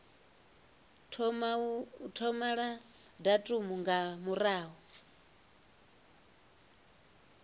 thoma la datumu nga murahu